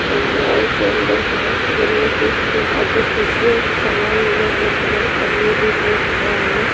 इ मॉल के अंदर के ह जम्मे की खूब अर्टिफिकल के सामान अदमी बीच में खड़ा हवं।